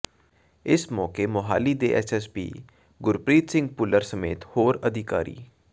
ਇਸ ਮੌਕੇ ਮੋਹਾਲੀ ਦੇ S S P Gurpreet Singh Bhullar ਸਮੇਤ ਹੋਰ ਅਧਿਾਕਾਰੀ